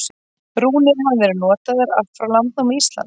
Rúnir hafa verið notaðar allt frá landnámi Íslands.